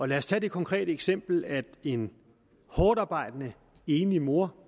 lad os tage det konkrete eksempel at en hårdtarbejdende enlig mor